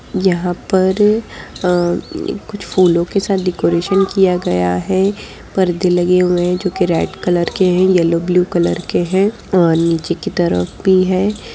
यहाँ पर अ ये कुछ फूलों के साथ डेकोरेशन किया गया है। परदे लगे हुए हैं जोकि रेड कलर के हैं येलो ब्लू कलर के हैं और नीचे की तरफ भी हैं।